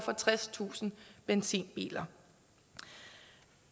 og tredstusind benzinbiler